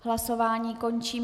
Hlasování končím.